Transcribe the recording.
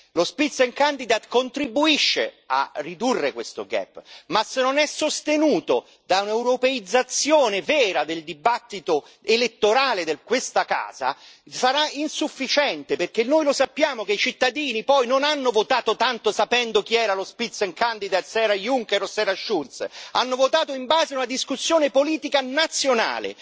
Lo Spitzenkandidat contribuisce a ridurre questo gap ma se non è sostenuto da un'europeizzazione vera del dibattito elettorale di questa casa sarà insufficiente, perché noi lo sappiamo che i cittadini poi non hanno votato tanto sapendo chi era lo Spitzenkandidat se era Juncker o se era Schulz, ma hanno votato in base a una discussione politica nazionale.